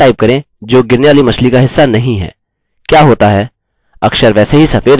अब अक्षर टाइप करें जो गिरने वाली मछली का हिस्सा नहीं है क्या होता है